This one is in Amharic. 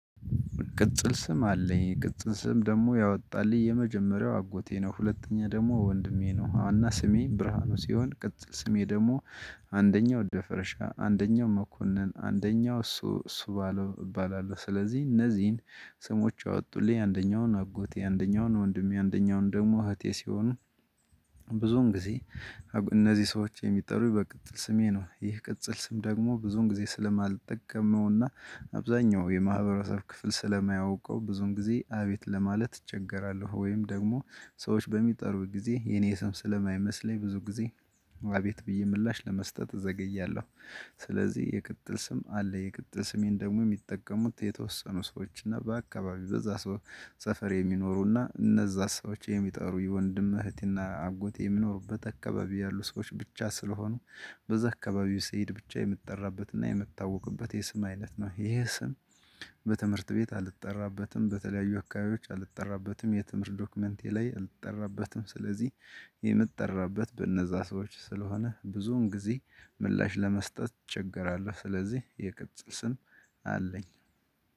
ቅጽል ስም አለኝ ቅጽል ስም ደግሞ ያወጣልኝ የመጀመሪያው አጎቴ ነው ሁለተኛ ደግሞ ወንድሜ ነው ዋናው ስሜ ብርሃኑ ሲሆን ቅጥ ስሜ ደግሞ አንደኛው ደፈረሻ አንደኛው መኮንን አንደኛው እሱ እሱ ባለው እባላለሁ። ስለዚህ እነዚህን ስሞች ያወጡልኝ አንደኛውን አጎቴ አንደኛውን ወንድሜ አንደኛውን ደግሞ እህቴ ሲሆኑ። ብዙን ጊዜ እነዚህ ሰዎች የሚጠሩኝ በቅጽል ስሜ ነው። ይህ ቅጽል ስም ደግሞ ብዙን ጊዜ ስለማልጠቀመውና አብዛኛው የማህበረሰብ ክፍል ስለማያውቀው ብዙም ጊዜ አቤት ለማለት እቸገራለሁ። ወይም ደግሞ ሰዎች በሚጠሩት ጊዜ የኔ ስም ስለማይመስለኝ ብዙ ጊዜ አቤት ብዬ ምላሽ ለመስጠት እዘገያለሁ። ስለዚህ የቅጽል ስም አለ የቅጽል ስሜን ደግሞ የሚጠቀሙት የተወሰኑ ሰዎች እና በአካባቢው በዛ ሰው ሰፈር የሚኖሩና እነዛ ሰዎች የሚጠሩ የወንድም እህትና አጎቴ የሚኖሩበት አካባቢ ያሉ ሰዎች ብቻ ስለሆኑ። በዛ አካባቢው ስሄድ ብቻ የምትጠራበትና የምታውቅበት የስም አይነት ነው። ይሄ ስም። በትምህርት ቤት አልተጠራበትም በተለያዩ ወካዮች አልተጠራበትም የትምህርት ዶክመንቴ ላይ አልተጠራበትም ስለዚህ። የምጠራበት በእነዛ ሰዎች ስለሆነ ብዙውን ጊዜ ምላሽ ለመስጠት እቸገራለሁ። ስለዚህ የቅጽል ስም አለኝ።